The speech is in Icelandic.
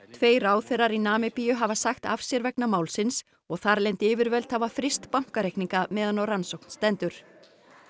tveir ráðherrar í Namibíu hafa sagt af sér vegna málsins og þarlend yfirvöld hafa fryst bankareikninga meðan á rannsókn stendur